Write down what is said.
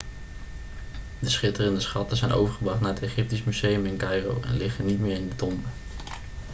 de schitterende schatten zijn overgebracht naar het egyptisch museum in caïro en liggen niet meer in de tombe